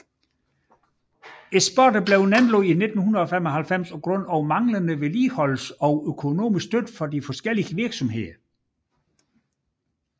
Sporet blev nedlagt i 1995 på grund af manglende vedligeholdelse og økonomisk støtte fra de forskellige virksomheder